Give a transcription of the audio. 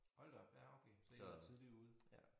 Hold da op ja okay så I har været tidligt ude